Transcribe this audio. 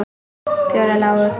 Fjórar lágu.